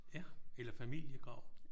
Ja eller familiegrav